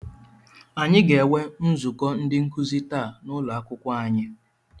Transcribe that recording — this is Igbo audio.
Aga enwe nzukọ ndị nkuzi taa n'ụlọakwụkwọ anyị.